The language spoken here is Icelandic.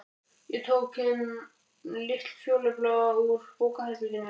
Ég tók þann litla fjólubláa úr bókaherberginu.